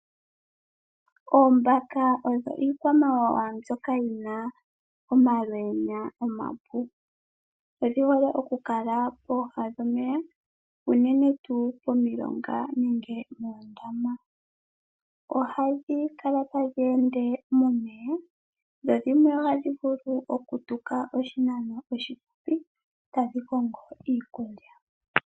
Oombaka odho iikwamawawa mbyoka yina omalweenya omapu. Odhihole okukala pooha dhomeya, uunene tu pomilonga nenge moondama. Ohadhi kala tadhi ende momeya, dho dhimwe ohadhi vulu okutuka oshinano oshile tadhi kongo iikulya.